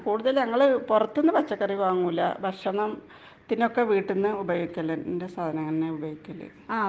കൂടുതല് ഞങ്ങൾ പുറത്തുന്നു പഴ കറികള് വാങ്ങൂല്ല .ഭക്ഷണത്തിനു ഒക്കെ വീട്ടിലെയാ ഉപയോഗിക്കല് .എന്റെ സാധനങ്ങൾ തന്നെ ആണ് ഉപയോഗിക്കല് .